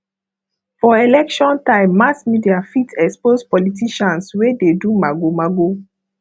for election time mass media fit expose politicians wey dey do magomago